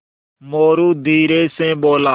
मोरू धीरे से बोला